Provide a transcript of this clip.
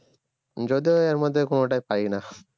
যদিও এর মধ্যে কোনটাই পারিনা